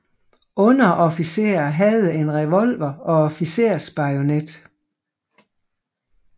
Underofficerer havde en revolver og officersbajonet